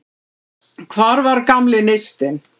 Hvar var gamli neistinn?